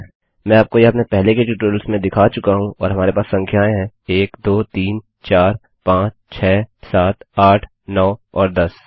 मैं आपको यह अपने पहले के ट्यूटोरियल्स में दिखा चुका हूँ और हमारे पास संख्याएँ हैं 1 2 3 4 5 6 7 8 9 और 10